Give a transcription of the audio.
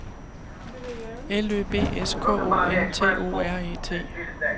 L Ø B S K O N T O R E T